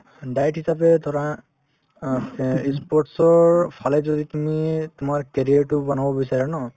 diet হিচাপে ধৰা অ ই sports ৰ ফালে যদি তুমি তোমাৰ career তো বনাব বিচাৰা ন